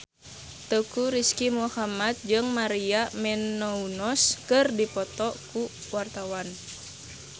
Teuku Rizky Muhammad jeung Maria Menounos keur dipoto ku wartawan